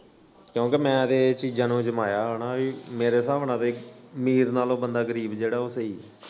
ਕਿਉਂਕਿ ਮੈਂ ਤੇ ਏ ਚੀਜਾਂ ਨੂੰ ਅਜਮਾਇਆ ਮੇਰੇ ਸਾਬ ਨਾਲ ਅਮੀਰ ਨਾਲੋਂ ਬੰਦਾ ਗਰੀਬ ਜੇੜਾ ਸਹੀ।